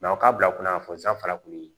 u ka bila kunnafoni san fana kun ye